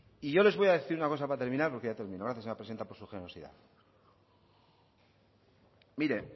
y yo les voy a decir una cosa para terminar porque ya termino gracias señora presidente por su generosidad mire